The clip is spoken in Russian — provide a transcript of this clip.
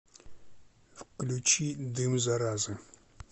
включи дым заразы